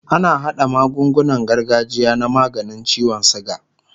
ana haɗa magungunan gargajiya na maganin ciwon sugar